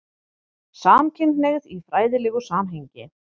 SAMKYNHNEIGÐ Í FRÆÐILEGU SAMHENGI